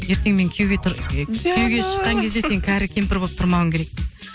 ертең мен күйеуге тұр күйеуге шыққан кезде сен кәрі кемпір болып тұрмауың керек дейді